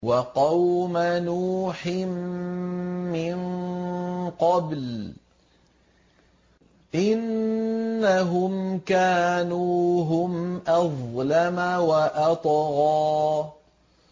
وَقَوْمَ نُوحٍ مِّن قَبْلُ ۖ إِنَّهُمْ كَانُوا هُمْ أَظْلَمَ وَأَطْغَىٰ